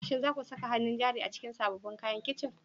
Shin za ku saka hannun jari a cikin sabbin kayan kicin?